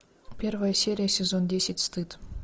первая серия сезон десять стыд